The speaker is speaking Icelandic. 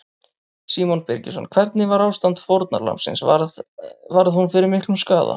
Símon Birgisson: Hvernig var ástand fórnarlambsins, varð, varð hún fyrir miklum skaða?